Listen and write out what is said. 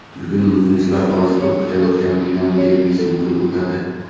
Bugun muxlislar orziqib kutayotgan Milan derbisi bo‘lib o‘tadi.